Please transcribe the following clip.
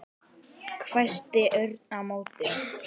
hvæsti Örn á móti.